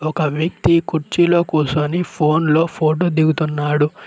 ఒక వ్యక్తి కుర్చీలో కూసోని ఫోన్ లో ఫోటో దిగుతున్నాడు.